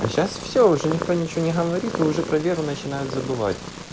сейчас все уже никто ничего не говорит уже про веру начинают забывать